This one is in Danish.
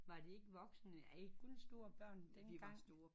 Var det ikke voksne er i kun store børn dengang